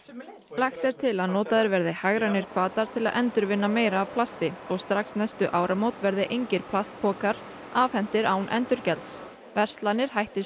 lagt er til að notaðir verði hagrænir hvatar til að endurvinna meira af plasti og að strax næstu áramót verði engir plastpokar afhentir án endurgjalds verslanir hætti